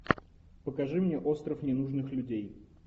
покажи мне остров ненужных людей